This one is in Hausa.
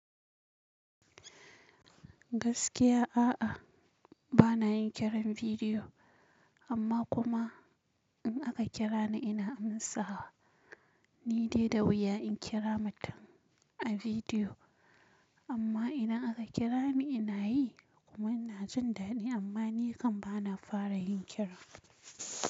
Gaskiya a'a bana yin kiran bidiyo amma kuma in aka kira ni ina amsawa. Ni dai da wuya in kira mutum a bidiyo amma idan aka kira ni ina yi kuma ina jin dadi amma ni kan bana fara yin kira.